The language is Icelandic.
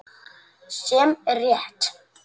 Sem er rétt.